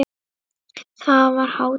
Þar var hátíð.